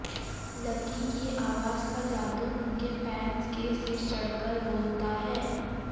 lucky की आवाज का जादू उनके फैंस के सिर चढ़कर बोलता है